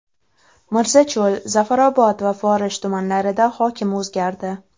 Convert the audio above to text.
Mirzacho‘l, Zafarobod va Forish tumanlarida hokim o‘zgardi.